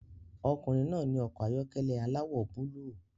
Ọkùnrin náà ní ọkọ̀ ayọ́kẹ́lẹ́ aláwọ̀ búlúù